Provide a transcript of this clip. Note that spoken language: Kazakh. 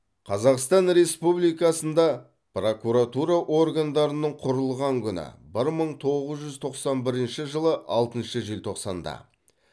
қазақстан республикасында прокуратура органдарының құрылған күні бір мың тоғыз жүз тоқсан бірінші жылы алтыншы желтоқсанда